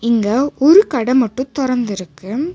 இங்க ஒரு கட மட்டு தொறந்திருக்கு.